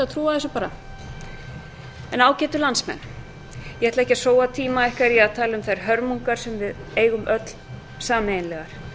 trúa þessu bara en ágætu landsmenn ég ætla ekki að sóa tíma ykkar í að tala hér um hörmungarnar sem við eigum öll sameiginlegar